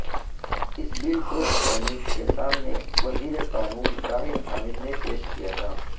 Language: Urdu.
اس بل کو سینیٹ کے سامنے وزیر قانون زاہد حامد نے پیش کیا تھا